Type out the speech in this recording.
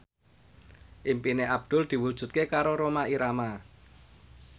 impine Abdul diwujudke karo Rhoma Irama